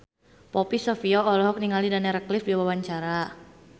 Poppy Sovia olohok ningali Daniel Radcliffe keur diwawancara